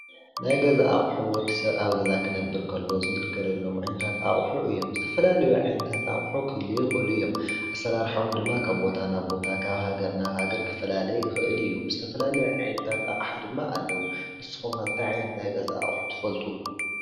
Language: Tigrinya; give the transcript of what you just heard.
ናይ ገዛ አቁሑ ወዲሰብ አብ ገዛ ክነብር ከሎ ዝግልነለሎም አቁሑ እዮም:: ዝተፈላለዩ አቁሑታት ክህልዉ ይክእሉ እዮም:: አሰራርሐኦም ድማ ካብ ቦታ ናብ ቦታ ካብ ሃገር ናብ ሃገረ ክፈላለ ይኽእል እዪ። ዝተፈላለዩ ዓነታት ኣቀሓ ድማ ኣለው። ንስኩም ከ እንታይ ዓይነት ናይ ገዛ አቁሑ ትፈልጡ ?